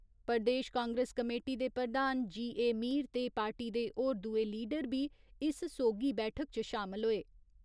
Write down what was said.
प्रदेश Congress committee दे प्रधान G A. Mir ते पार्टी दे होर दुए लीडर बी इस सोगी बैठक च शामल होए।